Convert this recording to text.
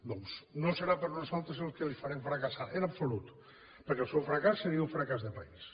doncs no serà per nosaltres que ho farem fracassar en absolut perquè el seu fracàs seria un fracàs de país